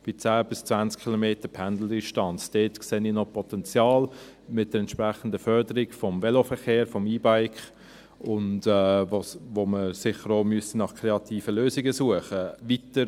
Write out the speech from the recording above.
Dort sehe ich noch Potenzial mit der entsprechenden Förderung des Veloverkehrs, des E-Bikes, wobei man sicher auch nach kreativen Lösungen suchen müsste.